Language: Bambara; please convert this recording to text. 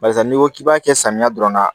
Barisa n'i ko k'i b'a kɛ samiya dɔrɔn na